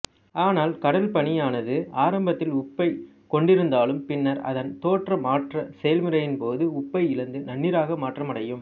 ஆனால் கடல் பனியானது ஆரம்பத்தில் உப்பைக் கொண்டிருந்தாலும் பின்னர் அதன் தோற்ற மாற்றச் செயல்முறையின்போது உப்பை இழந்து நன்னீராக மாற்றமடையும்